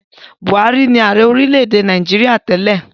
Buhari ni ààrẹ orílẹ̀-èdè Nàìjíríà tẹ́lẹ̀.